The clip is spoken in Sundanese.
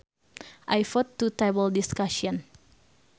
I vote to table discussion